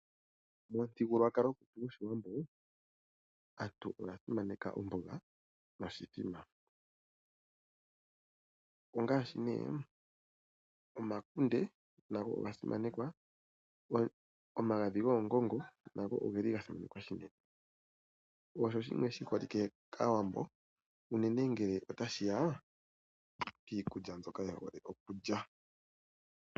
Momuthigululwakalo gwetu gwaawambo aantu oya simaneka omboga noshithima. Omakunde, omagadhi goongongo nago oga simanekwa unene. Osho shimwe shiholike kaawambo unene ngele otashiya kiikulya mbyoka yehole okulya.